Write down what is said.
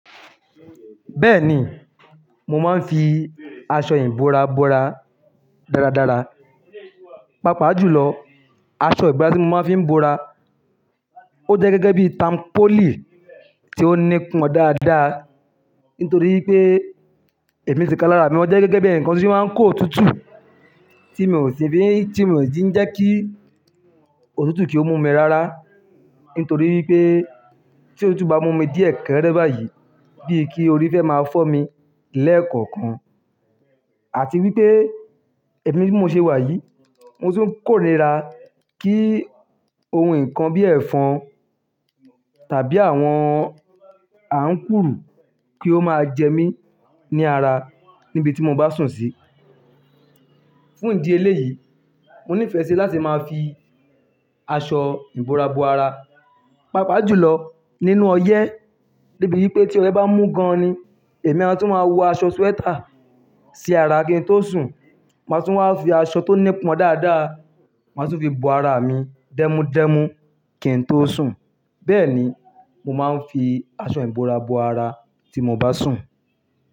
Bẹ́ẹ̀ni, mo máa ń fi aṣọ ìbora bora dáradára. Pápa jùlọ, aṣọ ìbora tí mo máa ń fi bora. Ó jẹ́ gẹ́gẹ́ bí i tampoli tí ó nípọn dáadáa. Nítorí pé èmi ti kan lara mi, mó jẹ́ gẹ́gẹ́ bí ẹ̀ni kan tí ó máa ń kó òtútù tí mi ò ti fi, tí mi ò tíì jẹ́ kí òtútù kí ó mú mi rara. Nítorí pé tí òtútù bá mú mi díẹ̀ kẹ́rẹ́ báyìí bíi kí orí fẹ́ máa fọ́ mi lẹ́ẹ̀kọ̀kan. Àti wípé èmi bí mo ṣe wà yìí mo tu ń kórìíra kí ohun nǹkan bí i ẹ̀fọn tàbí àwọn àǹkúrù kí ó máa jẹ mí ní ara níbi tí mo bá sùn sí. Fún ìdí eléyìí, mo nífẹ̀ẹ́ sí láti máa fi aṣọ ìbora bo ara. Pápa jùlọ nínú ọyẹ́. Débi wípé tí ọyẹ bá mú gan-an ni, èmi a tún máa wọ aṣọ sweater sí ara kí n tó sùn. Màá tún wá fi aṣọ tó nípọn dáadáa, màá tún fi bo ara mi dẹ́múdẹ́mú kí n tó sùn. Bẹ́ẹ̀ni, mo máa ń fi aṣọ ìbora bo ara tí mo bá sùn.